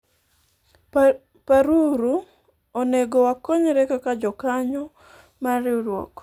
paruru , onego wakonyre kaka jokanyo mar riwruok